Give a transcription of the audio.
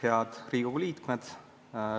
Head Riigikogu liikmed!